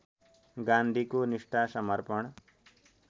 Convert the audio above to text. गान्धीको निष्ठा समर्पण